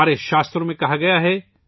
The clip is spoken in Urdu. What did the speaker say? ہمارے شاستروں کہا گیا ہے